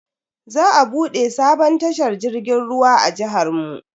Za a bude sabon tashar jirgin ruwa a jihar mu.